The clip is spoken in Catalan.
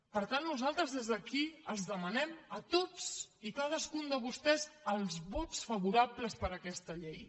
per tant nosaltres des d’aquí els demanem a tots i a cadascun de vostès els vots favorables per a aquesta llei